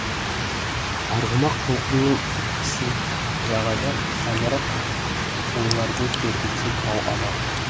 арғымақ толқынның тепкісін жағада самұрық ойларды тербетсе тау ана